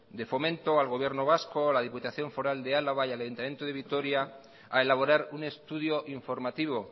de fomento al gobierno vasco a la diputación foral de álava y al ayuntamiento de vitoria a elaborar un estudio informativo